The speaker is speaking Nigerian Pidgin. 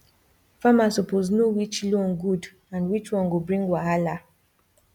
farmer suppose know which loan good and which one go bring wahala